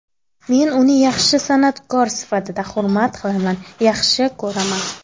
Men uni yaxshi san’atkor sifatida hurmat qilaman, yaxshi ko‘raman.